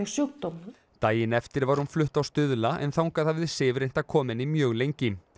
sjúkdóm daginn eftir var hún flutt á Stuðla en þangað hafði Sif reynt að koma henni mjög lengi